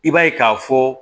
I b'a ye k'a fɔ